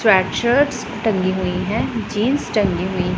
track shirts टंगी हुई है जींस टंगी हुई--